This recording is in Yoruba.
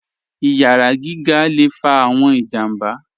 Iyàrá gígà lè fà awọn ìjàmbà.